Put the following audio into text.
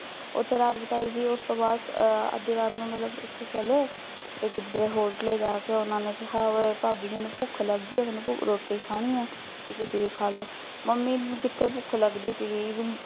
ਓਥੇ ਰਾਤ ਬਿਤਾਈ ਜੀ ਉਸਤੋਂ ਬਾਦ ਆ ਅੱਧੀ ਰਾਤ ਨੂੰ ਮਤਲਬ ਓਥੋਂ ਚਲੇ ਤੇ ਕਿਧਰੇ ਹੋਰ ਘਰੇ ਜਾਕੇ ਓਹਨਾਂ ਨੇ ਕਿਹਾ ਕਿ ਭਾਬੀ ਮੈਨੂੰ ਭੁੱਖ ਲੱਗੀ ਐ ਮੈਨੂੰ ਰੋਟੀ ਖਾਣੀ ਐ ਤੇ ਤੁਸੀਂ ਵੀ ਖਾਲੋ, ਮੰਮੀ ਨੂੰ ਕਿੱਥੇ ਭੁੱਖ ਲੱਗਦੀ ਸੀਗੀ